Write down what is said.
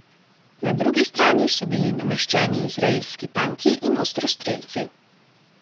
Na drugi strani so bili nameščeni izraelski tanki in ostrostrelci.